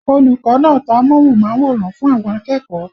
Olùkọ́ náà tan amóhùnmáwòrán fún àwọn akẹ́kọ̀ọ́